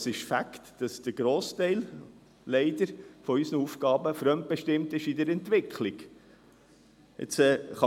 Es ist ein Fakt, dass leider ein Grossteil unserer Aufgaben in der Entwicklung fremdbestimmt sind.